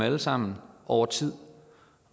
alle sammen over tid